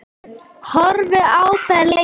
Horfði á þær lengi.